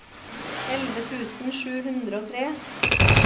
elleve tusen sju hundre og tre